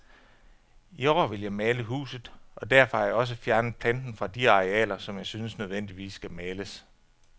I år vil jeg male huset, og derfor har jeg også fjernet planten fra de arealer, som jeg synes nødvendigvis skal males.